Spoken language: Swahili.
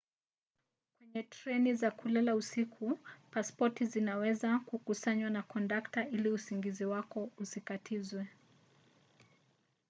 kwenye treni za kulala usiku pasipoti zinaweza kukusanywa na kondakta ili usingizi wako usitatizwe